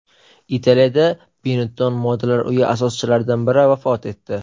Italiyada Benetton modalar uyi asoschilaridan biri vafot etdi.